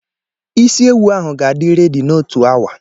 Isiewu ahụ ga-adị redi n'otu awa.